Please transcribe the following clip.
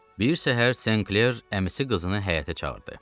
Bir səhər Senkler əmisi qızını həyətə çağırdı.